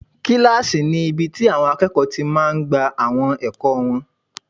Kílásì ni ibi tí àwọn akẹ́kọ̀ọ́ máa tí n gba àwọn ẹ̀kọ́ wọn